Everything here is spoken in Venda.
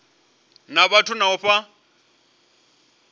na vhathu na u fha